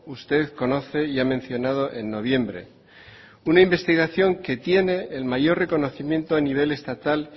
usted conoce y ha mencionado en noviembre una investigación que tiene el mayor reconocimiento a nivel estatal